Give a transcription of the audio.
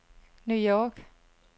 New York